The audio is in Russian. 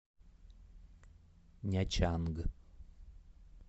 нячанг